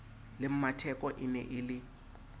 le mmatheko ene e le